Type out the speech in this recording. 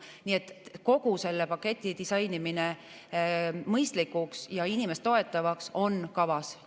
Nii et kogu selle paketi disainimine mõistlikuks ja inimest toetavaks on kavas.